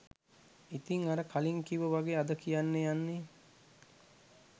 ඉතිං අර කලින් කිව්ව වගේ අද කියන්න යන්නේ